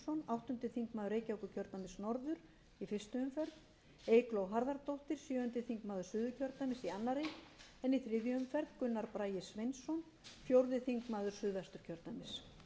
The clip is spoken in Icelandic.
áttundi þingmaður reykjavíkurkjrödæmis norður í fyrstu umferð eygló harðardóttir sjöundi þingmaður suðurkjördæmis í annarri en í þriðju umferð gunnar bragi sveinsson fjórði þingmaður suðvesturkjördæmis fyrir vinstri hreyfinguna grænt